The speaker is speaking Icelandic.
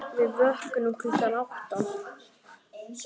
Við vöknum klukkan átta.